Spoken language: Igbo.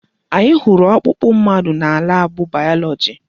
Anyị hụrụ ọkpụkpụ mmadụ na laabụ bayọlọji.